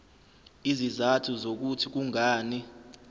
izizathu zokuthi kungani